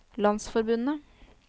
landsforbundet